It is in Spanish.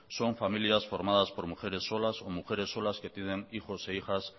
son familias formadas por mujeres solas o mujeres solas que tienen hijos e hijas